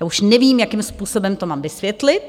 Já už nevím, jakým způsobem to mám vysvětlit.